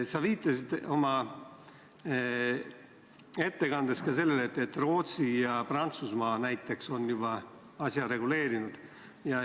Sa viitasid oma ettekandes ka sellele, et näiteks Rootsi ja Prantsusmaa on juba asja reguleerinud.